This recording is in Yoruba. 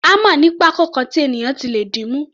Hámà ní pákó kan tí ènìyàn ti lè dìímú.